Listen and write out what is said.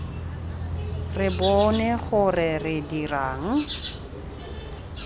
re bone gore re dirang